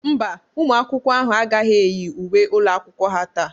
Mba, ụmụ akwụkwọ ahụ agaghị eyi uwe ụlọ akwụkwọ ha taa.